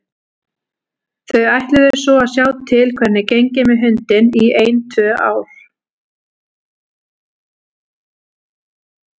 Þau ætluðu svo að sjá til hvernig gengi með hundinn í ein tvö ár.